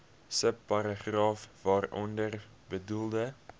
subparagraaf waaronder bedoelde